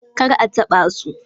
kar a taɓa su.